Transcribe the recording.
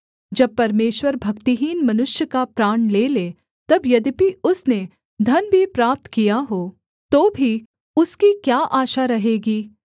जब परमेश्वर भक्तिहीन मनुष्य का प्राण ले ले तब यद्यपि उसने धन भी प्राप्त किया हो तो भी उसकी क्या आशा रहेगी